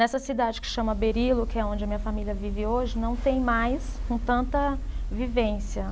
Nessa cidade que chama Berilo, que é onde a minha família vive hoje, não tem mais com tanta vivência.